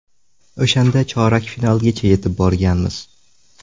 O‘shanda chorak finalgacha yetib borganmiz.